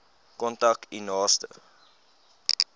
kontak u naaste